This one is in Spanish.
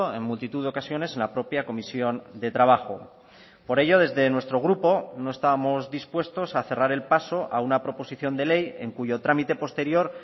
en multitud de ocasiones en la propia comisión de trabajo por ello desde nuestro grupo no estábamos dispuestos a cerrar el paso a una proposición de ley en cuyo trámite posterior